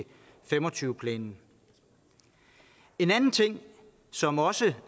fem og tyve planen en anden ting som også